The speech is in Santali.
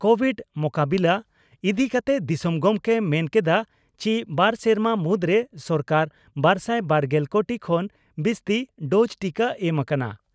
ᱠᱚᱵᱷᱤᱰᱽ ᱢᱚᱠᱟᱵᱤᱞᱟᱹ ᱤᱫᱤ ᱠᱟᱛᱮ ᱫᱤᱥᱚᱢ ᱜᱚᱢᱠᱮᱭ ᱢᱮᱱ ᱠᱮᱫᱼᱟ ᱪᱤ ᱵᱟᱨ ᱥᱮᱨᱢᱟ ᱢᱩᱫᱽᱨᱮ ᱥᱚᱨᱠᱟᱨ ᱵᱟᱨᱥᱟᱭ ᱵᱟᱨᱜᱮᱞ ᱠᱳᱴᱤ ᱠᱷᱚᱱ ᱵᱤᱥᱛᱤ ᱰᱚᱡᱽ ᱴᱤᱠᱟᱹ ᱮᱢ ᱟᱠᱟᱱᱟ ᱾